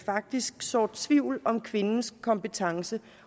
faktisk sår tvivl om kvindernes kompetencer